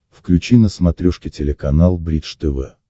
включи на смотрешке телеканал бридж тв